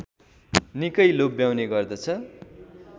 निकै लोभ्याउने गर्दछ